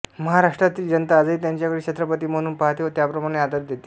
महाराष्ट्रातील जनता आजही त्यांच्याकडे छत्रपती म्हणूनच पहाते व त्याप्रमाणे आदर देते